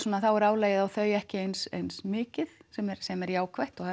er álagið á þau ekki eins eins mikið sem er sem er jákvætt og